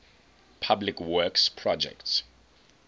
public works projects